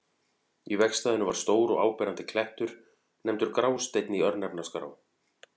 Í vegstæðinu var stór og áberandi klettur, nefndur Grásteinn í örnefnaskrá.